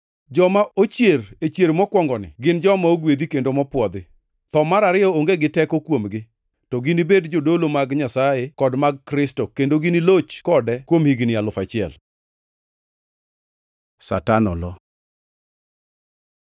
Joma ochier e chier mokwongoni gin joma ogwedhi kendo mopwodhi. Tho mar ariyo onge gi teko kuomgi, to ginibed jodolo mag Nyasaye kod mag Kristo kendo giniloch kode kuom higni alufu achiel. Satan olo